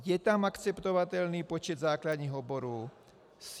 Je tam akceptovatelný počet základních oborů.